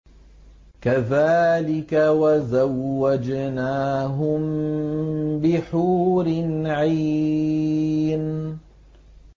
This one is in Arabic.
كَذَٰلِكَ وَزَوَّجْنَاهُم بِحُورٍ عِينٍ